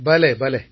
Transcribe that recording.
பலே